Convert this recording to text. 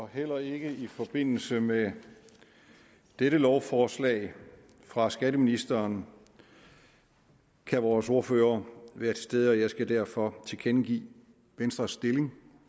heller ikke i forbindelse med dette lovforslag fra skatteministeren kan vores ordfører være til stede og jeg skal derfor tilkendegive venstres stilling